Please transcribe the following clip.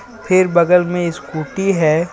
फिर बगल में स्कूटी है.